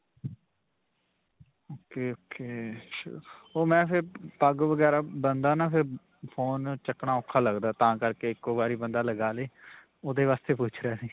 ok. ok. ਓਹ ਮੈਂ ਫਿਰ ਪੱਗ ਵਗੈਰਾ ਬੰਨਦਾ ਨਾਂ ਫਿਰ, Phone ਚੁਕਣਾ ਔਖਾ ਲਗਦਾ ਤਾਂ ਕਰਕੇ ਇੱਕੋ ਵਾਰੀ ਬੰਦਾ ਲਗਾ ਲੇ, ਓਹਦੇ ਵਾਸਤੇ ਪੁੱਛ ਰਿਆ ਸੀ.